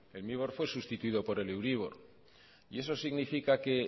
el mibor fue sustituido por el euribor y eso significa que